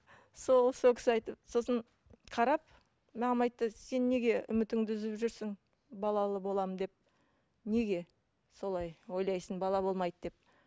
сол сол кісі айтты сосын қарап маған айтты сен неге үмітіңді үзіп жүрсің балалы боламын деп неге солай ойлайсың бала болмайды деп